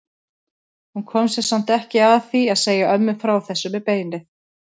Hún kom sér samt ekki að því að segja ömmu frá þessu með beinið.